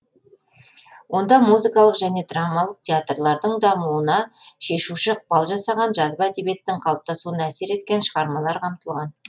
онда музыкалық және драмалық театрлардың дамуына шешуші ықпал жасаған жазба әдебиеттің қапыптасуына әсер еткен шығармалар қамтылған